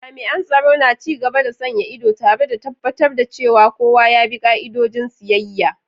Jami'an tsaro na ci gaba da sanya ido, tare da tabbatar da cewa kowa ya bi ka'idojin siyayya.